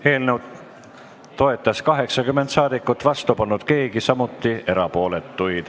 Hääletustulemused Eelnõu toetas 80 saadikut, vastu polnud keegi, samuti ei olnud erapooletuid.